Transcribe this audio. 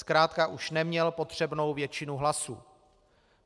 Zkrátka už neměl potřebnou většinu hlasů.